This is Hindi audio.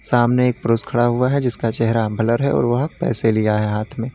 सामने एक पुरुष खड़ा हुआ है जिसका चेहरा ब्लर है और वह पैसे लिया है हाथ में।